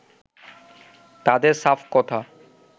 তাদের সাফ কথা